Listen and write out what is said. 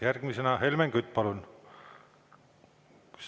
Järgmisena Helmen Kütt, palun!